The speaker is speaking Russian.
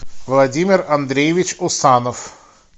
владимир андреевич усанов